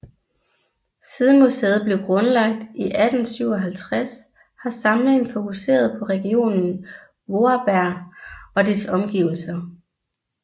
Siden museet blev grundlagt i 1857 har samlingen fokuseret på regionen Vorarlberg og dets omgivelser